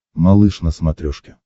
малыш на смотрешке